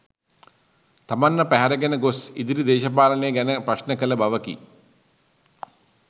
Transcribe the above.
තමන්ව පැහැරගෙන ගොස්‌ ඉදිරි දේශපාලනය ගැන ප්‍රශ්න කළ බවකි.